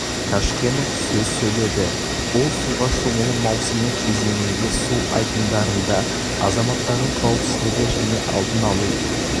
қажкенов сөз сөйледі ол суға шомылу маусымы кезеңінде су айдындарында азаматтардың қауіпсіздігі және алдын алу